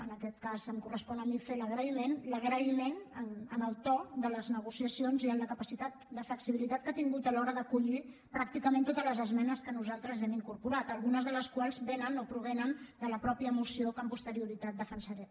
en aquest cas em correspon a mi fer l’agraïment l’agraïment pel to de les negociacions i per la capacitat de flexibilitat que ha tingut a l’hora d’acollir pràcticament totes les esmenes que nosaltres hi hem incorporat algunes de les quals vénen o provenen de la mateixa moció que amb posterioritat defensaré